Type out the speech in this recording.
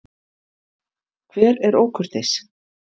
Hver er ókurteis?